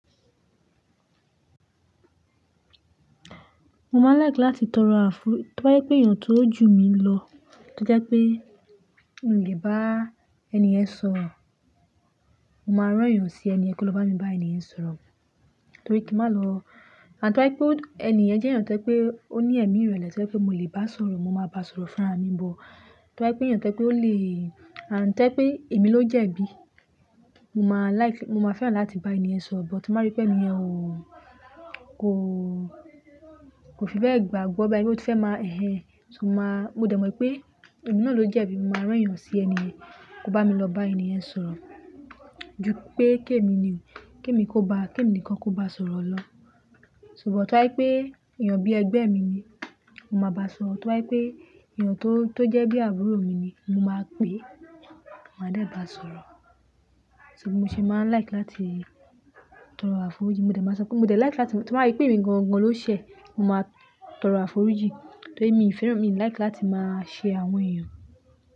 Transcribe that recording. Mo máa ń like láti tọrọ àfo-- tó bá jẹ́ pé èèyàn tó jù mí lọ, tó jẹ́ pé mi ò lè bá ẹni yẹn sọ̀rọ̀, mo máa rán èèyàn sí ẹni yẹn kó lọ bá ẹni yẹn sọ̀rọ̀, torí kí má lọ-- àfi tó bá jẹ́ pé ẹni yẹn jẹ́ èèyàn tó jẹ́ pé ó ní ẹ̀mí ìrẹ̀lẹ̀ tó jẹ́ pé mo lè bá a sọ̀rọ̀, mo máa bá a sọ̀rọ̀ fún'ra mi but. Tó bá jẹ́ pé èèyàn tó jẹ́ pé ó lè, and tó yẹ́ pé èmi ló jẹ̀bi, mo máa like, mo máa fẹ́ràn láti bá ẹni yẹn sọ̀rọ̀, but ti má rí pé ẹni yẹn ò, kò, kò fi bẹ́ẹ̀ gbàgbọ́ báyìí, ó ti fẹ́ má hẹ́n-hẹn, ṣùgbọ́n máa, mo dẹ̀ mọ̀ pé èmi náà ló jẹ̀bi, mo máa rán èèyàn sí ẹni yẹn kó bá mi lọ bá ẹni yẹn sọ̀rọ̀. Ju pé k'èmi ni, kí èmi kó ba, kí èmi nìkan kó bá sọ̀rọ̀ lọ. Ṣùgbọ́n tí ó bá jẹ́ pé èèyàn bí ẹgbẹ́ mi ni, mo máa bá a sọ̀rọ̀, tí wá pé èèyàn tó, tó jẹ́ bí àbúrò mi ni, mo máa pè é, mo máa dẹ̀ bá a sọ̀rọ̀. So bí mo ṣe máa ń like láti tọrọ àforíjì? Mò dé máa sọ pé mo dé like láti, tí mo bá rí pé èmi gangan ló ṣẹ̀, mo máa tọrọ àforíjì. Torí mi ò fẹ́ràn, mi ò like láti má ṣe àwọn èèyàn.